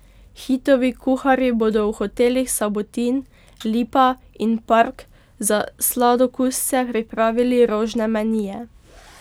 Hitovi kuharji bodo v hotelih Sabotin, Lipa in Park za sladokusce pripravili rožne menije.